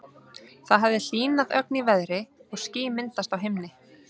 Það hafði hlýnað ögn í veðri og ský myndast á himni.